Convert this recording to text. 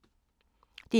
DR K